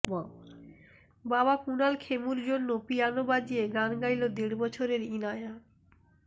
বাবা কুণাল খেমুর জন্য পিয়ানো বাজিয়ে গান গাইলো দেড় বছরের ইনায়া